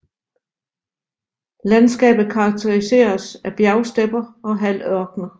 Landskabet karakteriseres af bjergstepper og halvørkener